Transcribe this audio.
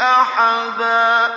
أَحَدًا